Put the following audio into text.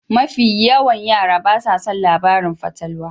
Mafi yawan yara basa son labaran fatalwa.